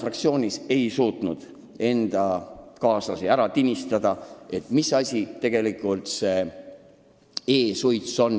Mina ei suutnud oma fraktsioonis oma kaaslasi ära tinistada ja neile selgeks teha, mis asi see e-suits tegelikult on.